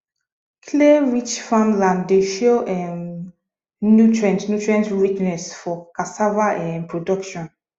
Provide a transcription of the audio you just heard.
clayrich farmland dey show um nutrient nutrient richness for cassava um production